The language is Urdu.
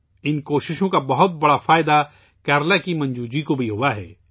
کیرالہ کی منجو جی کو بھی ان کوششوں سے کافی فائدہ ہوا ہے